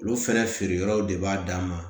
Olu fɛnɛ feere yɔrɔw de b'a dan ma